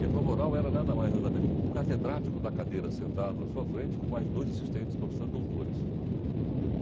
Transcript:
E a prova oral era nada mais, nada menos que o catedrático da cadeira sentado na sua frente com mais dois assistentes, professores, doutores.